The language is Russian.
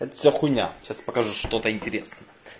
это все хуйня сейчас покажу что-то интересное